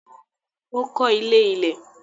Ó kọ́ ilé ilẹ̀.